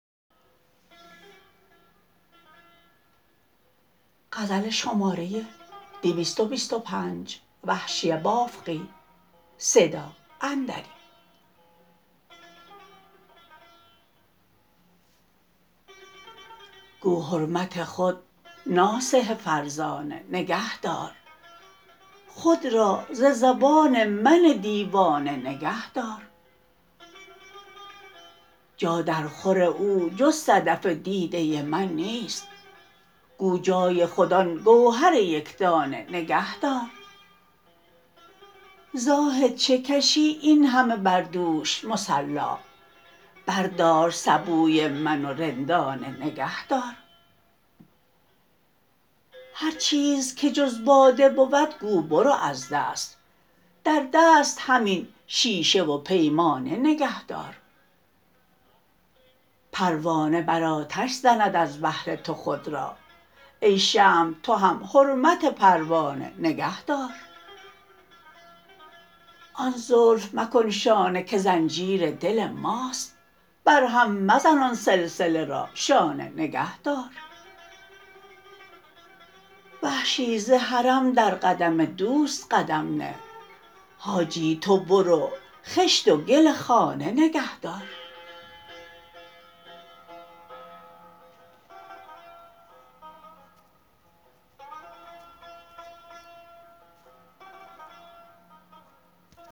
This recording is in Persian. گو حرمت خود ناصح فرزانه نگه دار خود را ز زبان من دیوانه نگه دار جا در خور او جز صدف دیده من نیست گو جای خود آن گوهر یکدانه نگه دار زاهد چه کشی اینهمه بر دوش مصلا بردار سبوی من و رندانه نگه دار هر چیز که جز باده بود گو برو از دست در دست همین شیشه و پیمانه نگه دار پروانه بر آتش زند از بهرتو خود را ای شمع تو هم حرمت پروانه نگه دار آن زلف مکن شانه که زنجیر دل ماست بر هم مزن آن سلسله را شانه نگه دار وحشی ز حرم در قدم دوست قدم نه حاجی تو برو خشت و گل خانه نگه دار